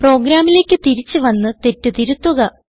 പ്രോഗ്രാമിലേക്ക് തിരിച്ച് വന്ന് തെറ്റ് തിരുത്തുക